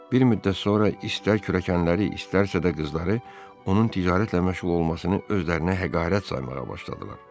Bir müddət sonra istər kürəkənləri, istərsə də qızları onun ticarətlə məşğul olmasını özlərinə həqarət saymağa başladılar.